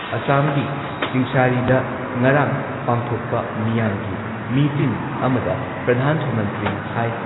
ꯑꯁꯥꯝꯒꯤ ꯆꯤꯡꯁꯥꯔꯤꯗ ꯉꯔꯥꯡ ꯄꯥꯡꯊꯣꯛꯄ ꯃꯤꯌꯥꯝꯒꯤ ꯃꯤꯇꯤꯟ ꯑꯃꯗ ꯄ꯭ꯔꯙꯥꯟ ꯃꯟꯇ꯭ꯔꯤꯅ ꯍꯥꯏ